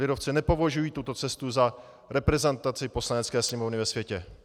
Lidovci nepovažují tuto cestu za reprezentaci Poslanecké sněmovny ve světě.